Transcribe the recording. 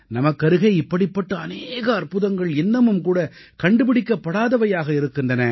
நம்க்கருகே இப்படிப்பட்ட அநேக அற்புதங்கள் இன்னமும்கூட கண்டுபிடிக்கப்படாதவையாக இருக்கின்றன